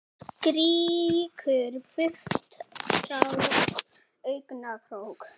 Strýkur burtu tár úr augnakrók.